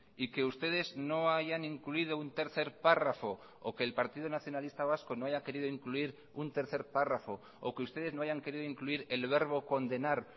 y que ustedes no hayan incluido un tercer párrafo o que el partido nacionalista vasco no haya querido incluir un tercer párrafo o que ustedes no hayan querido incluir el verbo condenar